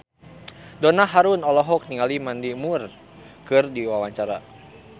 Donna Harun olohok ningali Mandy Moore keur diwawancara